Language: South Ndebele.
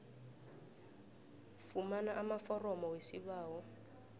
fumana amaforomo wesibawo